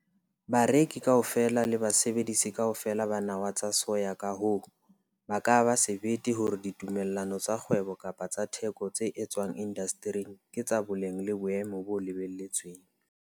Bareki kaofela le basebedisi kaofela ba nawa tsa soya ka hoo ba ka ba sebete hore ditumellano tsa kgwebo kapa tsa theko tse etswang indastering ke tsa boleng le boemo bo lebelletsweng.